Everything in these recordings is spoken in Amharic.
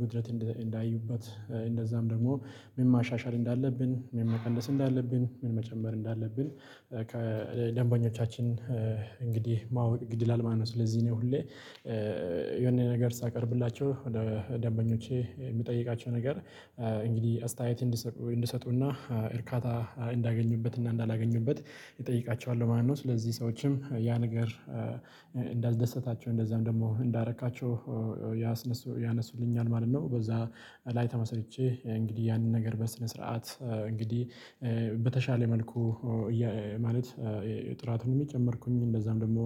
ጉድለት እንዳዩበት እንደዛም ደግሞ ምን ማሻሻል እንዳለብን ምን መቀነስ እንዳለብን ምን መጨመር እንዳለብን ከደንበኞቻችን እንግዲህ ማወቅ ግድ ይላል ማለት ነው። ስለዚህ ነው ሁሌ የሆነ ነገር ሳቀርብላቸው ወደ ደንበኞቼ የምጠይቃቸው ነገር እንግዲህ አስተያየት እንዲሰጡና እርካታ እንዳገኙበት እና እንዳላገኙበት እጠይቃቸዋለሁ ማለት ነው። ስለዚህ ሰዎችም ያ ነገር እንዳስደሰታቸው እንደዛም ደግሞ እንዳደረካቸው ያነሱልኛል ማለት ነው። በዛ ላይ ተመስርቼ እንግዲህ ያንን ነገር በስነ ስርዓት እንግዲህ በተሻለ መልኩ ማለት ጥራትን እየጨመርኩኝ እንደዛም ደግሞ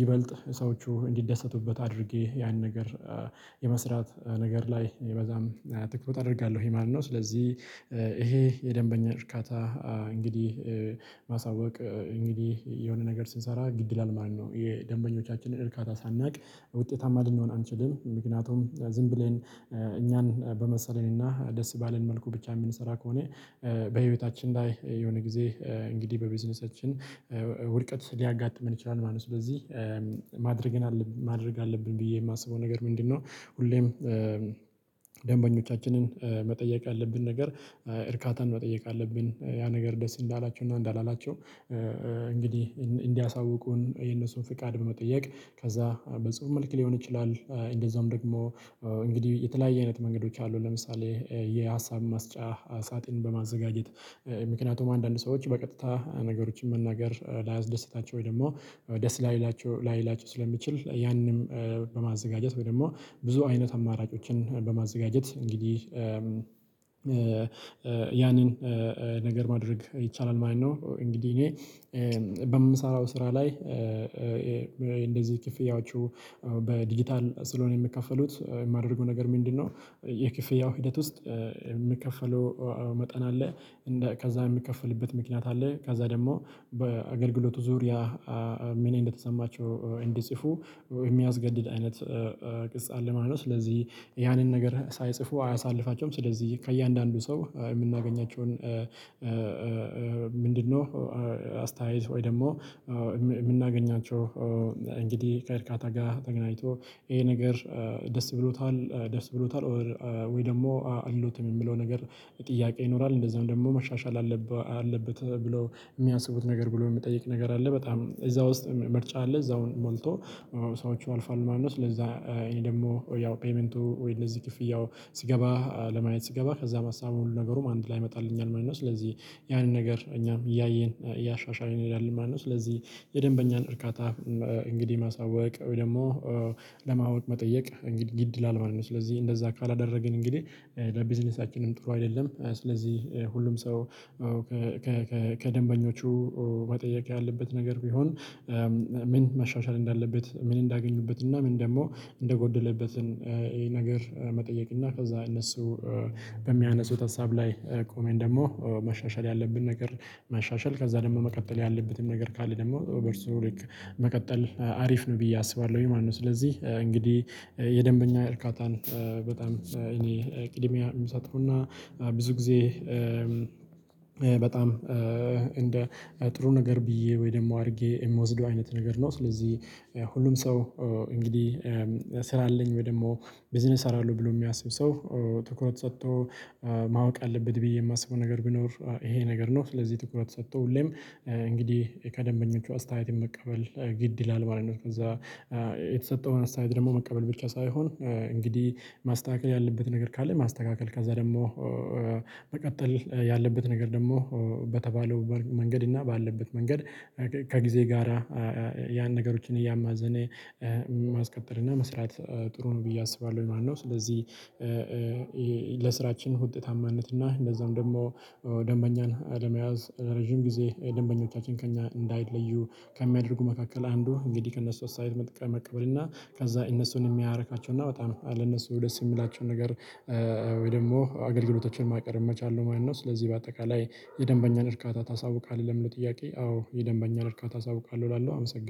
ይበልጥ ሰዎቹ እንዲደሰቱበት አድርጌ ያን ነገር የመስራት ነገር ላይ ይበዛም ትክክል አደርጋለሁ ማለት ነው። ስለዚህ ይሄ የደንበኛ እርካታ እንግዲህ ማሳወቅ እንግዲህ የሆነ ነገር ስንሰራ ግድ ይላል ማለት ነው። የደንበኞቻችንን እርካታ ሳናውቅ ውጤታማ ልንሆን አንችልም ምክንያቱም ዝም ብለን እኛን በመሰለን እና ደስ ባለን መልኩ ብቻ የምንሰራ ከሆነ በህይወታችን ላይ የሆነ ጊዜ እንግዲህ በቢዝነሳችን ውድቀት ሊያጋጥመን ይችላል ማለት ነው። ስለዚህ ማድረግን ማድረግ አለብን ብዬ ማስበው ነገር ምንድነው? ሁሌም መጠየቅ ያለብን ነገር እርካታን መጠየቅ አለብን ያ ነገር ደስ እንዳላቸው እና እንዳላላቸው እንግዲህ እንዲያሳውቁን የነሱን ፍቃድ በመጠየቅ ከዛ በጽሁፍ መልክ ሊሆን ይችላል። እንደዛም ደግሞ እንግዲህ የተለያየ አይነት መንገዶች አሉ ለምሳሌ የሀሳብ ማስጫ ሳጥን በማዘጋጀት ምክንያቱም አንዳንድ ሰዎች በቀጥታ ነገሮችን መናገር ላያስደስታቸው ወይ ደግሞ ደስ ላይላቸው ላይላቸው ስለሚችል ያንንም በማዘጋጀት ወይ ደግሞ ብዙ አይነት አማራጮችን በማዘጋጀት እንግዲህ ያንን ነገር ማድረግ ይቻላል ማለት ነው። እንግዲህ እኔ በምሰራው ስራ ላይ እንደዚህ ክፍያዎቹ በዲጂታል ስለሆነ የሚከፈሉት የማደርገው ነገር ምንድነው? የክፍያው ሂደት ውስጥ የሚከፈለው መጠን አለ ከዛ የሚከፈልበት ምክንያት አለ ከዛ ደግሞ በአገልግሎቱ ዙሪያ ምን እንደተሰማቸው እንዲጽፉ የሚያስገድድ አይነት ቅጽ አለ ማለት ነው። ስለዚህ ያንን ነገር ሳይጽፉ አያሳልፋቸውም ስለዚህ ከእያንዳንዱ ሰው የምናገኛቸውን ምንድነው አስተያየት ወይ ደግሞ የምናገኛቸው እንግዲህ ከእርካታ ጋር ተገናኝቶ ይሄ ነገር ደስ ብሎታል ደስ ብሎታል ወይ ደግሞ አይሎትም የሚለው ነገር ጥያቄ ይኖራል። እንደዛውም ደግሞ መሻሻል አለበት ብለው የሚያስቡት ነገር ብሎ የሚጠይቅ ነገር አለ። በጣም እዛ ውስጥ ምርጫ አለ እዛው ሞልቶ ሰዎች አልፏል ማነው? ስለዛ ይሄ ደግሞ ያው ፔይመንቱ ወይ እነዚህ ክፍያው ሲገባ ለማየት ስገባ ከዛ ሀሳቡ ሁሉ ነገሩም አንድ ላይ ይመጣልኛል ማለት ነው ስለዚህ ያንን ነገር እኛም እያየን እያሻሻልን እንሄዳለን ማለት ነው። ስለዚህ የደንበኛን እርካታ እንግዲህ ማሳወቅ ወይ ደግሞ ለማወቅ መጠየቅ እንግዲህ ግድ ይላል ማለት ነው። ስለዚህ እንደዛ ካላደረግን እንግዲህ ለቢዝነሳችንም ጥሩ አይደለም ስለዚህ ሁሉም ሰው ከደንበኞቹ መጠየቅ ያለበት ነገር ቢሆን ምን መሻሻል እንዳለበት ምን እንዳገኙበት እና ምን ደግሞ እንደጎደለበት ይሄ ነገር መጠየቅ እና ከዛ እነሱ በሚያነሱት ሀሳብ ላይ ቆመን ደግሞ መሻሻል ያለብን ነገር ማሻሻል ከዛ ደግሞ መቀጠል ያለበትም ነገር ካለ ደግሞ በእርሱ ልክ መቀጠል አሪፍ ነው ብዬ አስባለሁ ማለት ነው። ስለዚህ እንግዲህ የደንበኛ እርካታን በጣም እኔ ቅድሚያ ምሰጠዉና እና ብዙ ጊዜ በጣም እንደ ጥሩ ነገር ብዬ ወይ ደግሞ አድርጌ ምወስደው አይነት ነገር ነው። ስለዚህ ሁሉም ሰው እንግዲህ ስራ አለኝ ወይ ደግሞ ቢዝነስ እሰራለሁ ብሎ የሚያስብ ሰው ትኩረት ሰጥቶ ማወቅ አለበት ብዬ የማስበው ነገር ቢኖር ይሄ ነገር ነው። ስለዚህ ትኩረት ሰጥቶ ሁሌም እንግዲህ ከደንበኞቹ አስተያየት መቀበል ግድ ይላል ማለት ነው። ከዛ የተሰጠውን አስተያየት ደግሞ መቀበል ብቻ ሳይሆን እንግዲህ ማስተካከል ያለበት ነገር ካለ ማስተካከል ከዛ ደግሞ መቀጠል ያለበት ነገር ደግሞ በተባለው መንገድ እና ባለበት መንገድ ከጊዜ ጋራ ያን ነገሮችን እያማዘነ ማስቀጠል እና መስራት ጥሩ ነው ብዬ አስባለሁ ማለት ነው። ስለዚህ ውጤታማነት እና እንደዛውም ደግሞ ደንበኛን አለመያዝ ረጅም ጊዜ ደንበኞቻችን ከእኛ እንዳይለዩ ከሚያደርጉ መካከል አንዱ እንግዲህ ከእነሱ አስተያየት መቀበል እና ከዛ እነሱን የሚያረካቸውና በጣም ለነሱ ደስ ሚላቸውን ነገር ወይ ደግሞ አገልግሎቶችን ማቅረብ መቻል ማለት ነው። ስለዚህ በአጠቃላይ የደንበኛን እርካታ ታሳውቃለህ ለሚለው ጥያቄ? አዎ የደንበኛን እርካታ አሳዉቃለሁ እላለሁ አመሰግናለሁ